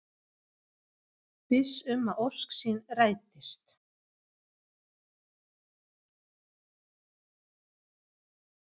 Viss um að ósk sín rætist.